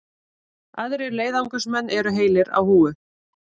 Aðrir leiðangursmenn eru heilir á húfi